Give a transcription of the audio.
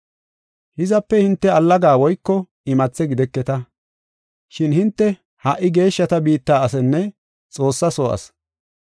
Hizape hinte allaga woyko imathe gideketa, shin hinte ha77i geeshshata biitta asinne Xoossaa soo asi.